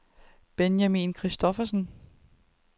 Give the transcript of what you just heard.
Benjamin Christoffersen